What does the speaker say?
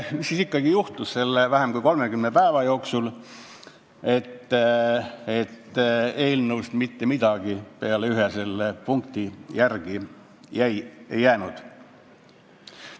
Mis siis ikkagi juhtus selle vähem kui 30 päeva jooksul, et eelnõust mitte midagi peale ühe punkti järele ei jäänud?